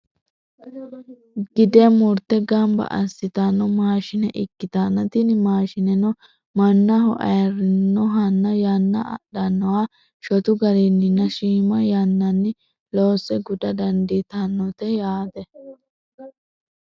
gide murte gamba assitanno maashine ikkitanna, tini maashineno mannaho ayiirannohanna yanna adhannoha shotu garinninna shiima yannanni loosse guda dandiitannote yaate.